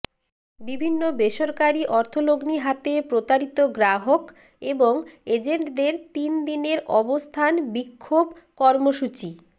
বিভিন্ন বেসরকারি অর্থলগ্নি হাতে প্রতারিত গ্রাহক এবং এজেন্টদের তিনদিনের অবস্থান বিক্ষোভ কর্মসূচি